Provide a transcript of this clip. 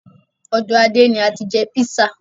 Ọ̀dọ Adé ni ati jẹ́ písà.